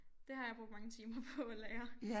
Det har jeg brugt mange timer på at lære